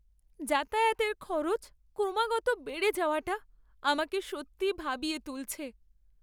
যাতায়াতের খরচ ক্রমাগত বেড়ে যাওয়াটা আমাকে সত্যিই ভাবিয়ে তুলছে।